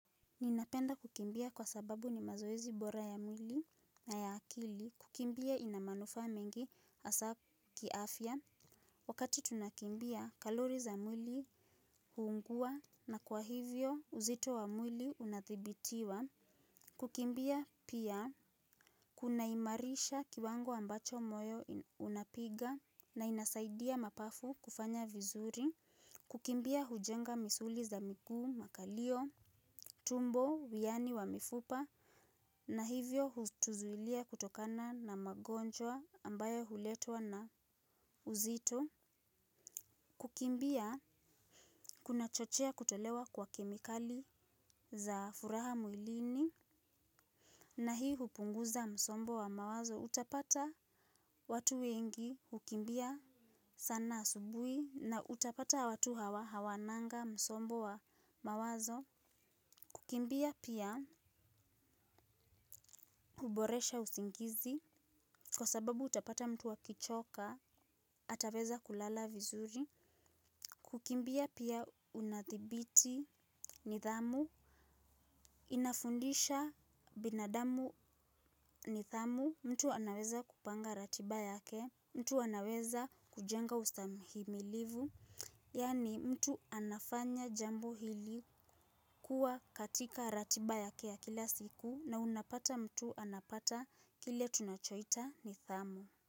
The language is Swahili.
Ninapenda kukimbia kwa sababu ni mazoezi bora ya mwili na ya akili. Kukimbia ina manufaa mengi hasa kiafya. Wakati tunakimbia kalori za mwili hupungua na kwa hivyo uzito wa mwili unathibitiwa. Kukimbia pia kunaimarisha kiwango ambacho moyo unapiga na inasaidia mapafu kufanya vizuri. Kukimbia hujenga misuli za miguu makalio, tumbo, wiani wa mifupa. Na hivyo hutuzuilia kutokana na magonjwa ambayo huletwa na uzito. Kukimbia kunachochea kutolewa kwa kemikali za furaha mwilini. Na hii hupunguza msombo wa mawazo utapata watu wengi hukimbia sana asubuhi na utapata watu hawa hawananga msombo wa mawazo. Kukimbia pia huboresha usingizi, kwa sababu utapata mtu akichoka, ataweza kulala vizuri. Kukimbia pia unadhibiti nidhamu, inafundisha binadamu nidhamu, mtu anaweza kupanga ratiba yake, mtu anaweza kujenga ustahimilivu. Yaani mtu anafanya jambo hili kuwa katika ratiba yake ya kila siku na unapata mtu anapata kile tunachoita nidhamu.